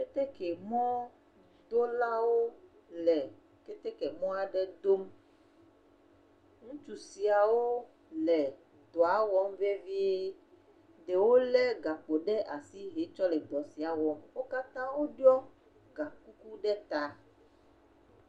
Keteke mɔ dolawo le keteke mɔa ɖe dom, ŋutsu siawo le dɔa wɔm vevie, ɖewo lé gakpo ɖe asi he tsɔ le dɔ sia wɔm, wo kata wo ɖiɔ ga kuku ɖe ta.